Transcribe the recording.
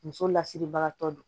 Muso lasiribagatɔ don